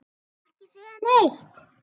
Ekki segja neitt!